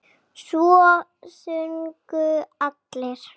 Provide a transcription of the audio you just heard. Svo sungu allir.